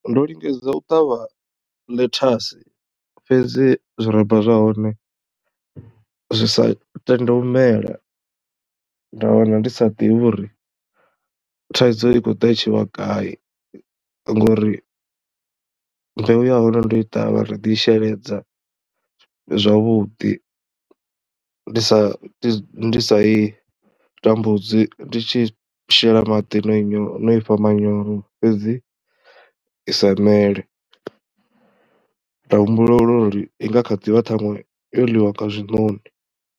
Ndo lingedza u ṱavha ḽethasi fhedzi zwirabva zwa hone zwi sa tende u mela, nda wana ndi sa ḓivhi uri thaidzo i khou ḓa i tshi vha gai ngori mbeu ya hone ndo i ṱavha, nda ḓi i sheledza zwavhuḓi. Ndi sa ndi sa i tambudzi, ndi tshi shela maḓi na nyo, no i fha manyoro fhedzi i sa mele nda humbula uri i nga kha ḓi vha ṱhaṅwe yo ḽiwa nga zwinoni.